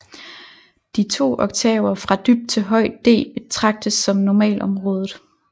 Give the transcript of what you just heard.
De to oktaver fra dybt til højt D betragtes som normalområdet